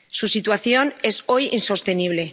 Su situación es hoy insostenible.